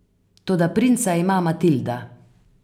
Toda princa ima Matilda.